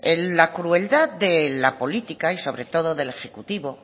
la crueldad de la política y sobre todo del ejecutivo